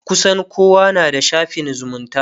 kusan kowa na da shafin zumunta